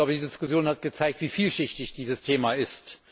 Ich glaube, die Diskussion hat gezeigt, wie vielschichtig dieses Thema ist.